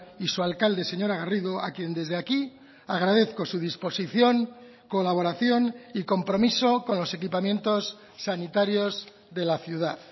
y su alcalde señora garrido a quien desde aquí agradezco su disposición colaboración y compromiso con los equipamientos sanitarios de la ciudad